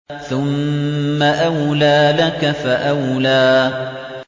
ثُمَّ أَوْلَىٰ لَكَ فَأَوْلَىٰ